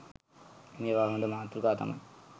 මේවා හොඳ මාතෘකා තමයි.